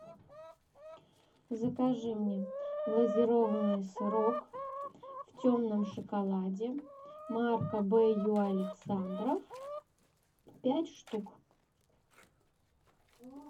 закажи мне глазированный сырок в темном шоколаде марка б ю александров пять штук